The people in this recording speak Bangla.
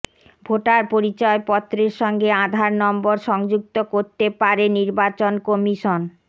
ভোটার পরিচয়পত্ৰের সঙ্গে আধার নম্বর সংযুক্ত করতে পারে নির্বাচন কমিশন